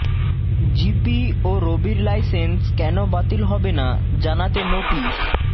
GP ও রবির licence কেন বাতিল হবে না জানাতে নোটিশ